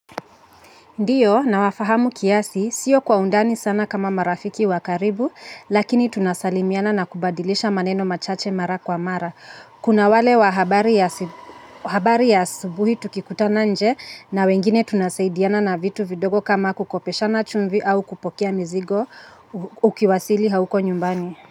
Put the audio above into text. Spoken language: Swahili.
Ndiyo, nawafahamu kiasi, sio kwa undani sana kama marafiki wa karibu, lakini tunasalimiana na kubadilisha maneno machache mara kwa mara. Kuna wale wa habari ya asubuhi tukikutana nje na wengine tunasaidiana na vitu vidogo kama kukopeshana chumvi au kupokea mzigo ukiwasili hauko nyumbani.